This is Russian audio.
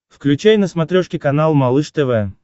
включай на смотрешке канал малыш тв